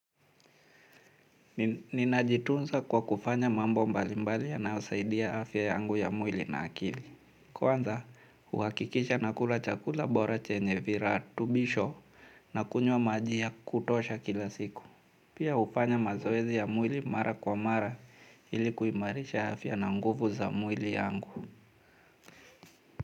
Ninajitunza kwa kufanya mambo mbalimbali yanaosaidia afya yangu ya mwili na akili. Kwanza uhakikisha nakula chakula bora chenye viratubisho nakunywa maji ya kutosha kila siku. Pia ufanya mazoezi ya mwili mara kwa mara ili kuimarisha afya na nguvu za mwili yangu.